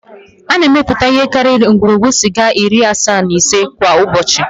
A na-emepụta ihe karịrị ngwugwu sịga iri asaa na ise kwa ụbọchị